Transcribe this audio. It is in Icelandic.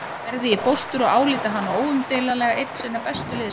Gerði í fóstur og álíti hana óumdeilanlega einn sinna bestu listamanna.